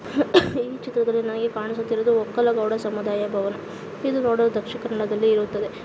ಈ ಚಿತ್ರದಲ್ಲಿ ನಮಗೆ ಕಾಣಿಸುತ್ತಿರುವುದು ಒಕ್ಕಲಗೌಡ ಸಮುದಾಯ ಭವನ. ಇದು ಇರುತ್ತದೆ.